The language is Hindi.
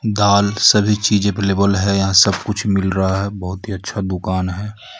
दाल सभी चीज अवेलेबल है यहां सब कुछ मिल रहा है बहुत ही अच्छा दुकान है.